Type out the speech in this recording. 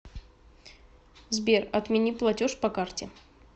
сбер отмени платеж по карте